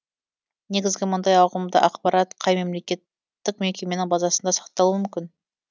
негізі мұндай ауқымды ақпарат қай мемлекеттік мекеменің базасында сақталуы мүмкін